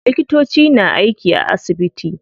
Likitoci na aiki a asibiti.